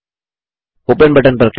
open button पर click करें